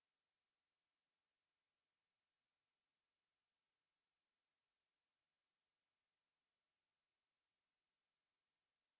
spoken tutorial প্রকল্পর the কথ্য tutorialগুলি ব্যবহার করে workshop সঞ্চালন করে যারা online পরীক্ষা pass করে তাদের certificates দেয়